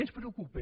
ens preocupa